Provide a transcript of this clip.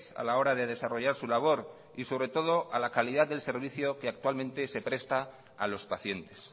a la hora de desarrollar su labor y sobre todo a la calidad del servicio que actualmente se presta a los pacientes